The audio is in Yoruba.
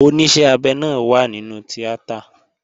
Oníṣẹ́ abẹ náà wà nínú tíátà